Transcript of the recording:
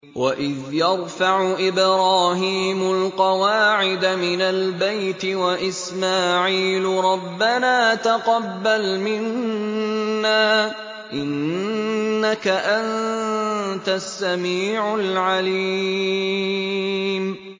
وَإِذْ يَرْفَعُ إِبْرَاهِيمُ الْقَوَاعِدَ مِنَ الْبَيْتِ وَإِسْمَاعِيلُ رَبَّنَا تَقَبَّلْ مِنَّا ۖ إِنَّكَ أَنتَ السَّمِيعُ الْعَلِيمُ